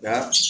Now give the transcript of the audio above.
Nka